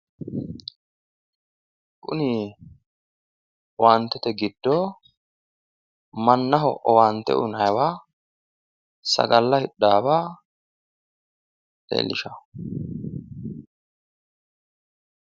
Kuni owaantete giddo mannaho owaante uyinayiwa mannaho sagalla hidhaawa leellishawo.